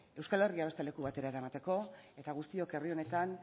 euskal herria beste leku batera eramateko eta guztiok herri honetan